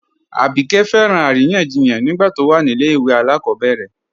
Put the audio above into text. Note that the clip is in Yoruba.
Abíkẹ́ fẹ́ràn aríyànjíyàn nígbà tó wà ní ilẹ̀ ìwé alákobèrè